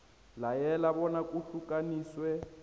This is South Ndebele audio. layela bona kuhlukaniswe